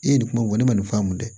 E ye nin kuma ne ma nin faamu dɛ